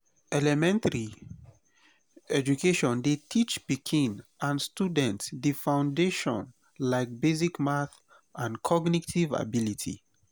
elementary education dey teach pikin and student di foundation like basic math and cognitive ability